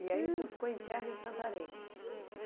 E aí o senhor ficou interno em Santarém?